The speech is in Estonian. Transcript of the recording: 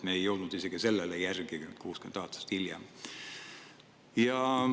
Me ei jõudnud isegi sellele järgi nüüd, 60 aastat hiljem.